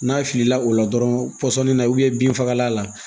N'a filila o la dɔrɔn pɔsɔnni na binfagalan la